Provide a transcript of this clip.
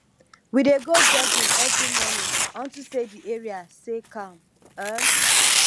we dey go jogging every morning unto say the area sey calm um